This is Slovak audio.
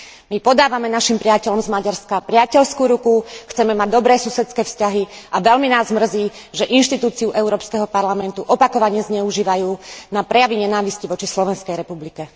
My podávame našim priateľom z Maďarska priateľskú ruku, chceme mať dobré susedské vzťahy a veľmi nás mrzí, že inštitúciu Európskeho parlamentu opakovane zneužívajú na prejavy nenávisti voči Slovenskej republike.